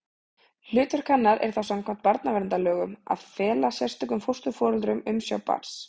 Hlutverk hennar er þá samkvæmt barnaverndarlögum að fela sérstökum fósturforeldrum umsjá barns.